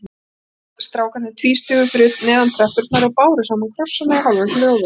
Strákarnir tvístigu fyrir neðan tröppurnar og báru saman krossana í hálfum hljóðum.